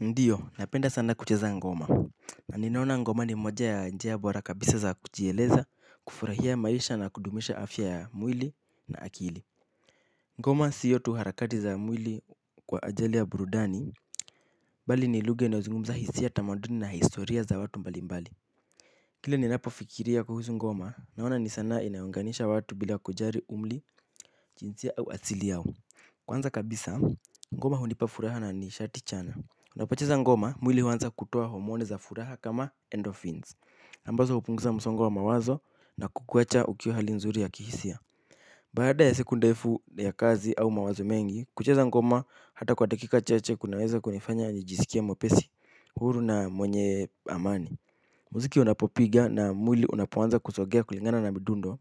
Ndiyo, napenda sana kucheza ngoma. Na ninaona ngoma ni moja ya njia bora kabisa za kujieleza, kufurahia maisha na kudumisha afya ya mwili na akili. Ngoma sio tu harakati za mwili kwa ajili ya burudani, bali ni lugha inayozungumza hisia tamaduni na historia za watu mbalimbali. Kile ninapofikiria kuhusu ngoma, naona ni sanaa inayounganisha watu bila kujali umri, jinsia au asili yao. Kwanza kabisa, ngoma hunipa furaha na nishati chanya. Unapocheza ngoma, mwili huanza kutoa homoni za furaha kama endorphins. Ambazo hupunguza msongo wa mawazo na kukuwacha ukiwa hali nzuri ya kihisia. Baada ya siku ndefu ya kazi au mawazo mengi, kucheza ngoma hata kwa dakika chache kunaweza kunifanya nijisikie mwepesi huru na mwenye amani. Muziki unapopiga na mwili unapoanza kusogea kulingana na midundo,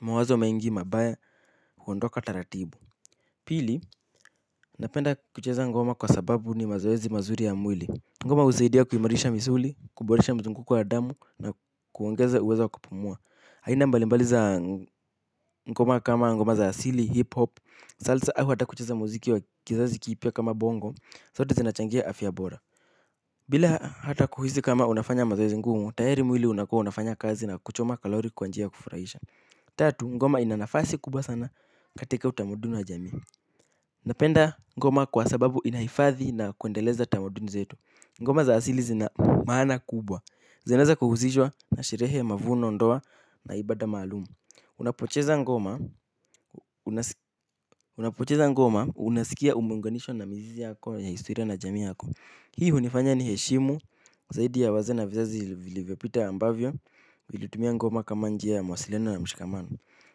mawazo mengi mabaya huondoka taratibu. Pili, napenda kucheza ngoma kwa sababu ni mazoezi mazuri ya mwili. Ngoma husaidia kuimarisha misuli, kuboresha mzunguko wa damu na kuongeza uwezo wa kupumua. Aina mbali mbali za ngoma kama ngoma za asili, hip-hop, salsa, au hata kucheza muziki wa kizazi kipya kama bongo, zote zinachangia afya bora. Bila hata kuhisi kama unafanya mazoezi ngumu, tayari mwili unakuwa unafanya kazi na kuchoma kalori kwa njia ya kufurahisha. Tatu, ngoma ina nafasi kubwa sana katika utamaduni wa jamii. Napenda ngoma kwa sababu inahifadhi na kuendeleza tamaduni zetu. Ngoma za asili zina maana kubwa. Zinaeza kuhusishwa na sherehe mavuno ndoa na ibada malumu. Unapocheza ngoma unasikia umeunganishwa na mizizi yako ya historia na jamii yako. Hii hunifanya niheshimu zaidi ya wazee na vizazi vilivyopita ambavyo vilitumia ngoma kama njia ya mawasiliano na mshikamano.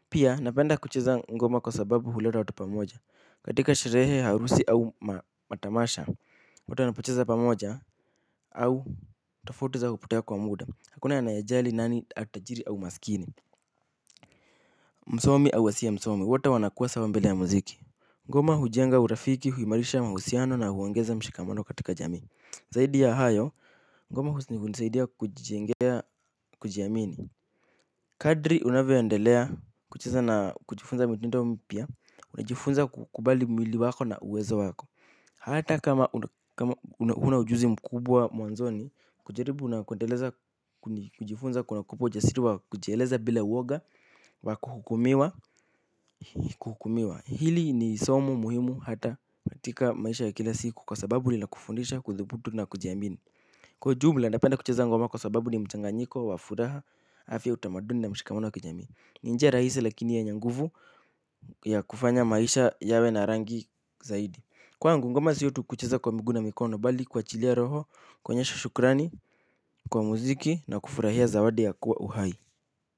Pia napenda kucheza ngoma kwa sababu huleta watu pamoja. Katika sherehe, harusi au matamasha, wata wanapocheza pamoja au tofauti zao hupotea kwa muda. Hakuna anayejali nani atajiri au maskini. Msomi au asiye msomi, wote wanakuwa sawa mbele ya muziki. Ngoma hujenga urafiki, huimarisha mahusiano na huongeza mshikamano katika jamini. Zaidi ya hayo, ngoma hunisaidia kujijengea kujiamini. Kadri unavyoendelea kucheza na kujifunza mitendo mpya, unajifunza kukubali mwili wako na uwezo wako. Hata kama huna ujuzi mkubwa mwanzoni, kujaribu na kuendeleza kujifunza kunakupa ujasiri wa kujieleza bila uoga wa kuhukumiwa. Hili ni somo muhimu hata katika maisha ya kila siku kwa sababu lilakufundisha, kuthubutu na kujiamini. Kwa ujumla, napenda kucheza ngoma kwa sababu ni mchanganyiko, wa furaha, afya utamaduni na mshikamono wa kijamii. Ni njia rahisi lakini yenye nguvu ya kufanya maisha yawe na rangi zaidi. Kwangu ngoma sio tu kucheza kwa miguu na mikono bali kuachilia roho kuonyesha shukrani kwa muziki na kufurahia zawadi ya kuwa uhai.